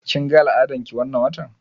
Kin ga al'adar ki wannan watan?